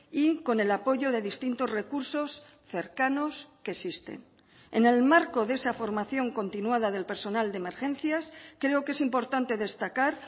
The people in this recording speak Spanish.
y con el apoyo de distintos recursos cercanos que existen en el marco de esa formación continuada del personal de emergencias creo que es importante destacar